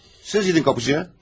Siz gedin qapıçıya.